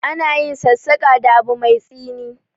Ana yin sassaƙa da abu mai tsini.